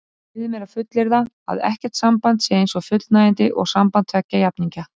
Ég leyfi mér að fullyrða að ekkert samband sé eins fullnægjandi og samband tveggja jafningja.